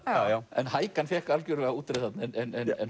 en hækan fékk útreið þarna en